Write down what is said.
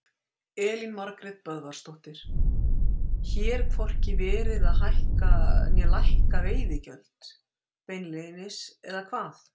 Elín Margrét Böðvarsdóttir: Hér hvorki verið að hækka né lækka veiðigjöld beinlínis, eða hvað?